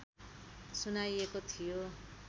सुनाइएको थियो